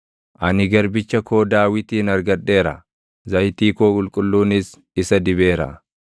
Ani garbicha koo Daawitin argadheera; zayitii koo qulqulluunis isa dibeera.